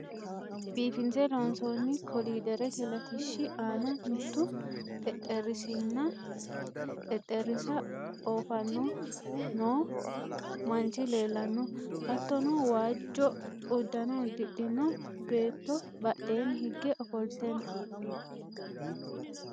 biifinse loonsoonni koliiderete latishshi aana mittu xexxerisinna xexerisa oofanni noo manchi leellanno, hattono waajjo uddano uddidhino beettobadheenni higge ofolte no.